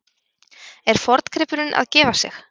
Er forngripurinn að gefa sig?